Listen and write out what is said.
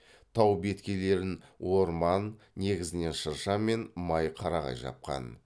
тау беткейлерін орман негізінен шырша мен май қарағай жапқан